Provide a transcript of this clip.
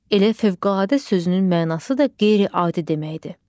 Elə fövqəladə sözünün mənası da qeyri-adi deməkdir.